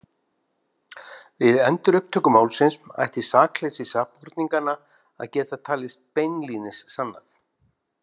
Við endurupptöku málsins ætti sakleysi sakborninganna að geta talist beinlínis sannað.